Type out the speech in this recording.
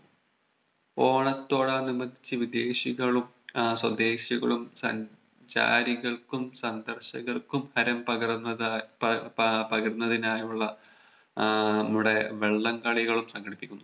ഓണത്തോടനുബന്ധിച്ച് വിദേശികളും ആഹ് സ്വദേശികളും സഞ്ചാരികൾക്കും സന്ദർശകർക്കും ഹരം പകർന്നതാ പ പാ പകരുന്നതിനായുള്ള ആഹ് നമ്മുടെ വള്ളം കളിയും സംഘടിപ്പിക്കുന്നു